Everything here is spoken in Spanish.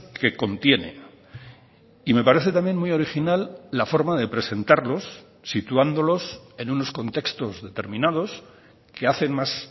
que contiene y me parece también muy original la forma de presentarlos situándolos en unos contextos determinados que hacen más